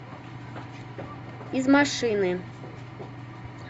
из машины